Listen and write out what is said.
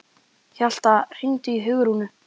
Hjalta, hringdu í Hugrúnu.